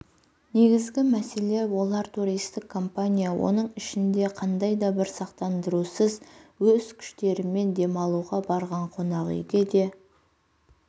негізгі мәселе олар туристік компания оның ішінде қандайда бір сақтандырусыз өз күштерімен демалуға барған қонақүйге де